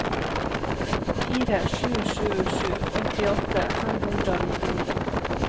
fire sju sju sju åttiåtte fem hundre og nittini